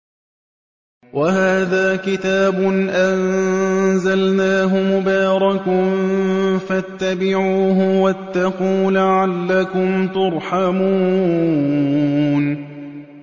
وَهَٰذَا كِتَابٌ أَنزَلْنَاهُ مُبَارَكٌ فَاتَّبِعُوهُ وَاتَّقُوا لَعَلَّكُمْ تُرْحَمُونَ